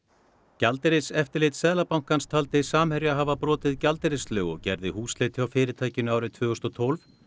gjaldeyriseftirlit Seðlabankans taldi Samherja hafa brotið gjaldeyrislög og gerði húsleit hjá fyrirtækinu árið tvö þúsund og tólf